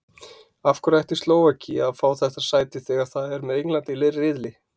Af hverju ætti Slóvakía að fá þetta sæti þegar það er með Englandi í riðli?